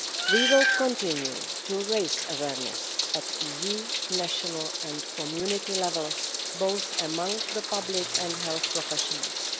We will continue to raise awareness at EU, national and community levels, among both the public and health professionals.